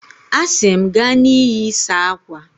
A sị m, gaa na iyi, saa akwa!